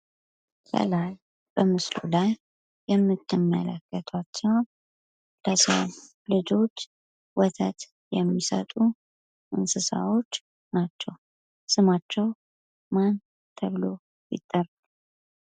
ከላይ በምስሉ ላይ የምትመለከቷቸው ለሰው ልጆች ወተት የሚሰጡ እንስሳዎች ናቸው። ስማቸው ምን ተብሎ ይጠራል?